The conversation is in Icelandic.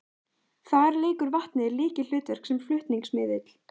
Þar leikur vatnið lykilhlutverk sem flutningsmiðill.